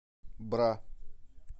бра